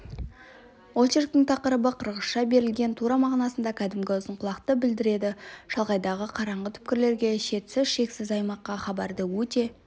очерктің тақырыбы қырғызша берілген тура мағынасында кәдімгі ұзынқұлақты білдіреді шалғайдағы қараңғы түкпірлерге шетсіз-шексіз аймаққа хабарды өте